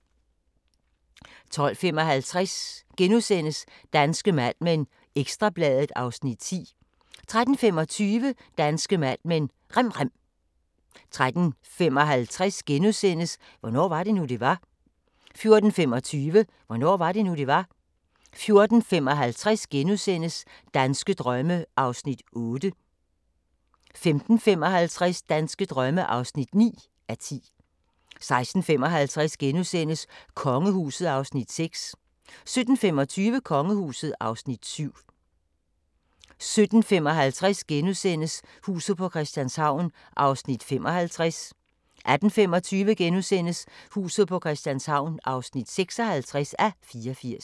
12:55: Danske Mad Men: Ekstra Bladet (Afs. 10)* 13:25: Danske Mad Men: Rem rem 13:55: Hvornår var det nu, det var? * 14:25: Hvornår var det nu, det var? 14:55: Danske drømme (8:10)* 15:55: Danske drømme (9:10) 16:55: Kongehuset (Afs. 6)* 17:25: Kongehuset (Afs. 7) 17:55: Huset på Christianshavn (55:84)* 18:25: Huset på Christianshavn (56:84)*